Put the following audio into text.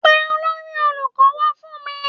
Pe olórí olùkọ́ wá fún mi.